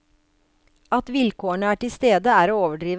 At vilkårene er til stede, er å overdrive.